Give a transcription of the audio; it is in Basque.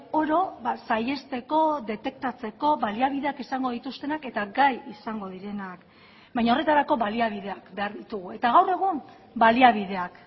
oro saihesteko detektatzeko baliabideak izango dituztenak eta gai izango direnak baina horretarako baliabideak behar ditugu eta gaur egun baliabideak